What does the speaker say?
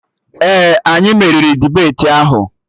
Ee, anyị meriri dibeti ahụ